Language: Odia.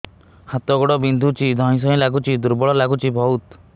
ହାତ ଗୋଡ ବିନ୍ଧୁଛି ଧଇଁସଇଁ ଲାଗୁଚି ଦୁର୍ବଳ ଲାଗୁଚି ବହୁତ